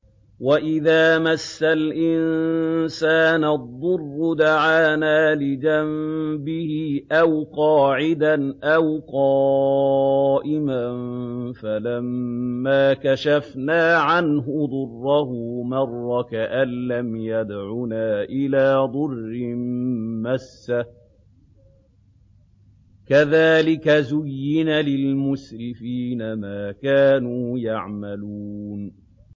وَإِذَا مَسَّ الْإِنسَانَ الضُّرُّ دَعَانَا لِجَنبِهِ أَوْ قَاعِدًا أَوْ قَائِمًا فَلَمَّا كَشَفْنَا عَنْهُ ضُرَّهُ مَرَّ كَأَن لَّمْ يَدْعُنَا إِلَىٰ ضُرٍّ مَّسَّهُ ۚ كَذَٰلِكَ زُيِّنَ لِلْمُسْرِفِينَ مَا كَانُوا يَعْمَلُونَ